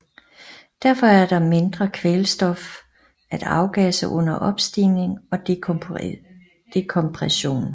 Derfor er der mindre kvælstof at afgasse under opstigning og dekompression